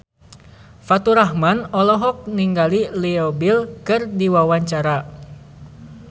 Faturrahman olohok ningali Leo Bill keur diwawancara